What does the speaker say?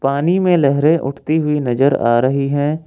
पानी में लहरें उठती हुई नजर आ रही है।